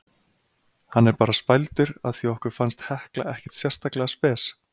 Hann er bara spældur af því okkur fannst Hekla ekkert sérstaklega spes.